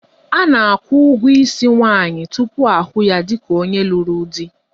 A na-akwụ ụgwọ isi nwaanyị tupu ahụ ya dịka onye lụrụ di.